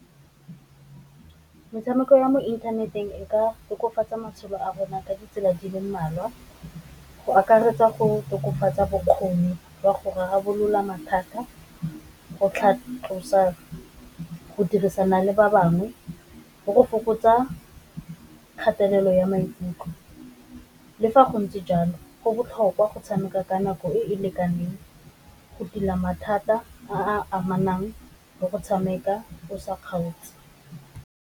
Metshameko ya mo inthaneteng e ka tokafatsa matshelo a rona ka ditsela di le mmalwa, go akaretsa go tokafatsa bokgoni wa go rarabolola mathata, go tlhatlosa go dirisana le ba bangwe, le go fokotsa kgatelelo ya maikutlo. Le fa go ntse jalo go botlhokwa go tshameka ka nako e e lekaneng go tila mathata a a amanang le go tshameka o sa kgaotse.